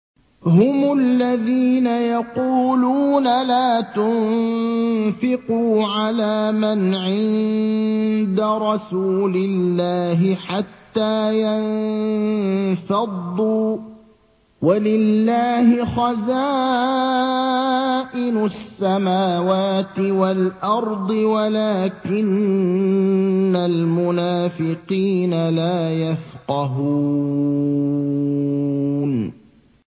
هُمُ الَّذِينَ يَقُولُونَ لَا تُنفِقُوا عَلَىٰ مَنْ عِندَ رَسُولِ اللَّهِ حَتَّىٰ يَنفَضُّوا ۗ وَلِلَّهِ خَزَائِنُ السَّمَاوَاتِ وَالْأَرْضِ وَلَٰكِنَّ الْمُنَافِقِينَ لَا يَفْقَهُونَ